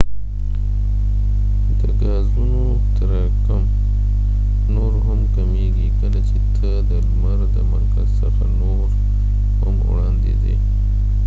د ګازونو تراکم نور هم کمیږی کله چې ته د لمر د مرکز څخه نور هم وړاندي ځی